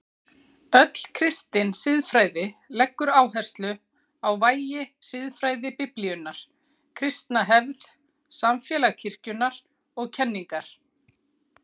Öll kristin siðfræði leggur áherslu á vægi siðfræði Biblíunnar, kristna hefð, samfélag kirkjunnar og kenningar.